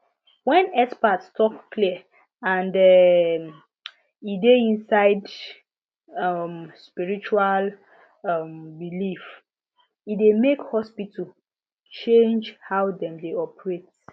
when expert talk clear and um e dey inside um spiritual um belief e dey make hospitals change how dem dey operate